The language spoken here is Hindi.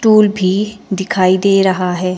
टूल भी दिखाई दे रहा है।